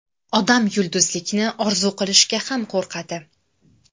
Odam yulduzlikni orzu qilishga ham qo‘rqadi.